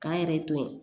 K'an yɛrɛ to yen